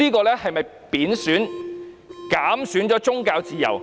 這是否貶損或減損宗教自由？